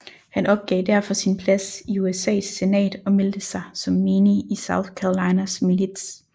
Han opgav derfor sin plads i USAs senat og meldte sig som menig i South Carolinas milits